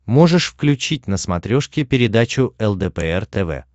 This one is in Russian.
можешь включить на смотрешке передачу лдпр тв